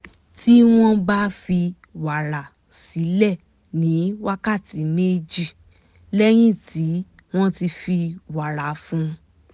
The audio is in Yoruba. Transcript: tí wọ́n bá fi wàrà sílẹ̀ ní wákàtí méjì lẹ́yìn tí wọ́n ti fi wàrà fún